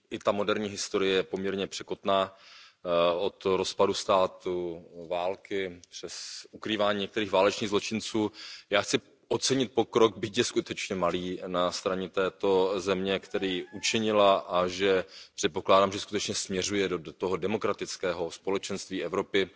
Ta moderní historie je poměrně překotná. Od rozpadu státu, války, přes ukrývání některých válečných zločinců, já chci ocenit pokrok, byť je skutečně malý, na straně této země, který učinila, a předpokládám, že skutečně směřuje do toho demokratického společenství Evropy.